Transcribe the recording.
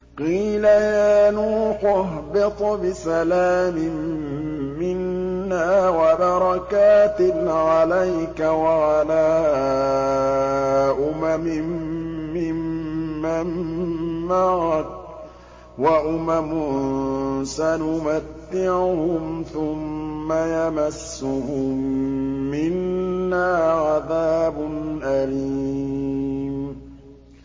قِيلَ يَا نُوحُ اهْبِطْ بِسَلَامٍ مِّنَّا وَبَرَكَاتٍ عَلَيْكَ وَعَلَىٰ أُمَمٍ مِّمَّن مَّعَكَ ۚ وَأُمَمٌ سَنُمَتِّعُهُمْ ثُمَّ يَمَسُّهُم مِّنَّا عَذَابٌ أَلِيمٌ